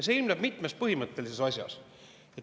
See ilmneb mitmes põhimõttelises asjas.